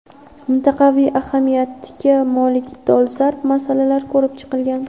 mintaqaviy ahamiyatga molik dolzarb masalalar ko‘rib chiqilgan.